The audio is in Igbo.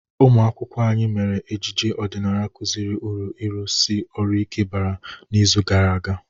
Umụ akwụkwọ anyị mere ejije ọdịnala kụziri uru ịrụsi orụ ike bara n'izu gara aga.